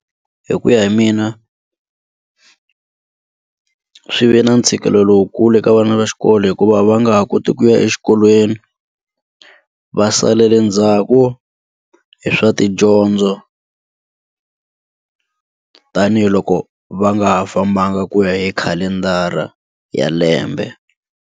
Hi ku ya hi mina swi ve na ntshikelelo lowukulu ka vana va xikolo hikuva va nga ha koti ku ya exikolweni va salele ndzhaku hi swa tidyondzo tanihiloko va nga ha fambanga ku ya hi khalendara ya lembe.